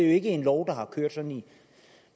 ikke en lov der har kørt i